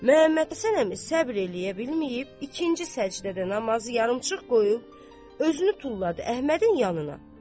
Məmmədhəsən əmisi səbr eləyə bilməyib, ikinci səcdədə namazı yarımçıq qoyub özünü tulladı Əhmədin yanına.